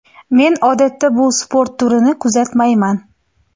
Men odatda bu sport turini kuzatmayman.